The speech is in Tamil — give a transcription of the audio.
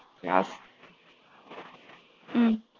யா ஹம்